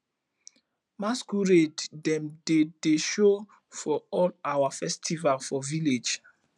masqurade dem dey dey show for all our festival for village